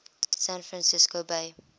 san francisco bay